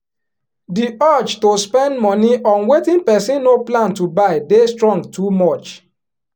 di urge to spend money on wetin person no plan to buy dey strong too much